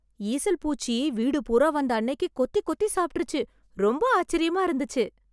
ஈசல் பூச்சி வீடு பூரா வந்த அன்னைக்கு கொத்தி கொத்தி சாப்ட்ருச்சு , ரொம்ப ஆச்சரியமா இருந்துச்சு.